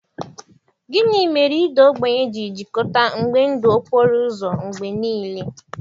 Gịnị mere ịda ogbenye ji jikọta mgbe ndụ okporo ụzọ mgbe nile?